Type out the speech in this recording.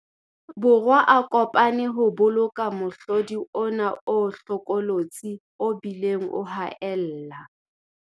Borwa a ko pane ho boloka mohlodi ona o hlokolotsi o bileng o haella.